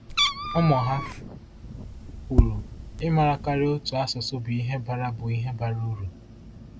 Ụmụ ha kwuru: “Ịmara karịa otu asụsụ bụ ihe bara bụ ihe bara uru.”